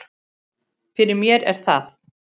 Fyrir mér er það